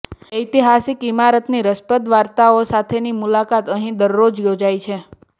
ઐતિહાસિક ઇમારતની રસપ્રદ વાર્તાઓ સાથેની મુલાકાત અહીં દરરોજ યોજાય છે